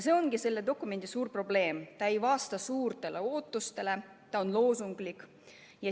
See ongi selle dokumendi suur probleem: ta ei vasta suurtele ootustele, ta on loosunglik.